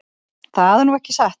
Það er nú ekki satt.